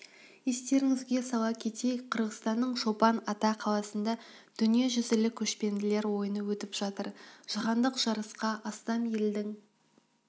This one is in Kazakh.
естеріңізге сала кетейік қырғызстанның чолпан ата қаласында дүниежүзілік көшпенділер ойыны өтіп жатыр жаһандық жарысқа астам елдің